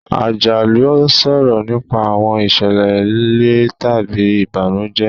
Àjálù ń sọ̀rọ̀ nípa àwọn ìṣẹ̀lẹ̀ le tàbí ìbànújẹ́.